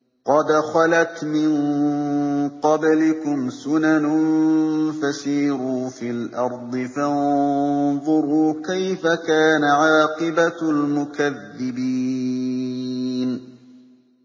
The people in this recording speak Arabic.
قَدْ خَلَتْ مِن قَبْلِكُمْ سُنَنٌ فَسِيرُوا فِي الْأَرْضِ فَانظُرُوا كَيْفَ كَانَ عَاقِبَةُ الْمُكَذِّبِينَ